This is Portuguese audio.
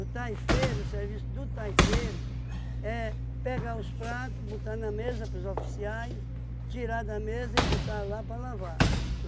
taifeiro, o serviço do taifeiro é pegar os prato, botar na mesa pros oficiais, tirar da mesa e botar lá para lavar.